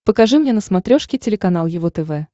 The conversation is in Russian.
покажи мне на смотрешке телеканал его тв